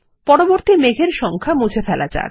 পরবর্তী মেঘ এর সংখ্যা মুছে ফেলা যাক